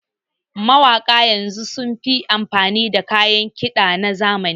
Mawaƙa yanzu sun fi amfani da kayan kiɗa na zamani